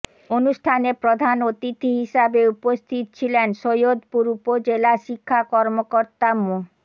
অনুষ্ঠানে প্রধান অতিথি হিসেবে উপস্থিত ছিলেন সৈয়দপুর উপজেলা শিক্ষা কর্মকর্তা মো